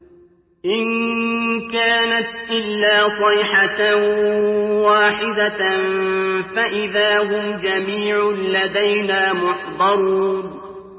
إِن كَانَتْ إِلَّا صَيْحَةً وَاحِدَةً فَإِذَا هُمْ جَمِيعٌ لَّدَيْنَا مُحْضَرُونَ